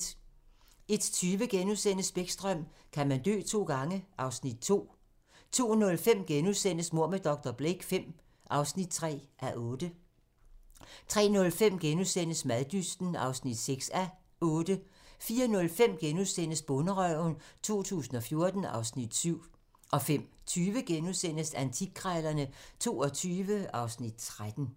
01:20: Bäckström: Kan man dø to gange? (Afs. 2)* 02:05: Mord med dr. Blake V (3:8)* 03:05: Maddysten (6:8)* 04:05: Bonderøven 2014 (Afs. 7)* 05:20: Antikkrejlerne XXII (Afs. 13)*